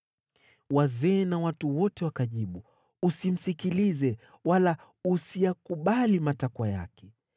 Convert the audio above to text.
Wazee na watu wote wakajibu, “Usimsikilize, wala usiyakubali matakwa yake.”